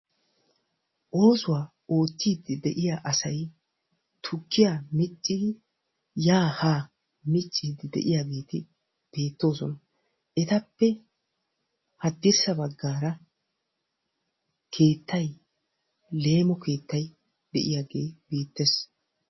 Oosuwaa oottidi de'iyaa asay tukkiyaa miccidi ya ha miccide de'iyaageeti beettoosona; etappe haddirssa baggara keettay leemo keettay de'iyaage beettees.